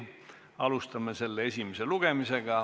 Alustame selle esimest lugemist.